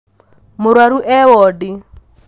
Mũrwaru e wondi